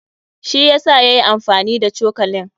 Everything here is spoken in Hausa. Shi yasa yayi amfani da cokalin.